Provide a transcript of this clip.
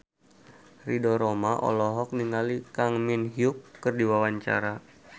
Ridho Roma olohok ningali Kang Min Hyuk keur diwawancara